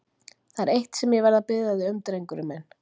Það er eitt sem ég verð að biðja þig um, drengurinn minn.